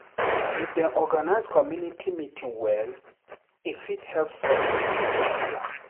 If dem organize community meeting well, e fit help solve plenty wahala.